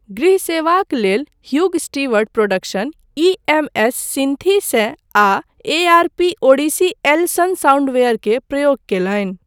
गृह सेवाक लेल Hugh Stewart production EMS. Synthi सए आ ए.आर.पी.ओडिसी एल सन साउंडवेयर के प्रयोग कयलनि।